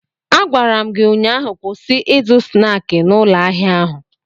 Agwara m gi ụnyaahụ, kwụsị ịzụ snaakị n'ụlọ ahịa ahụ!